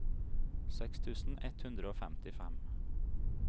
seks tusen ett hundre og femtifem